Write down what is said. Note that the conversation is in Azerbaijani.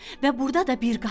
və burda da bir qapı var.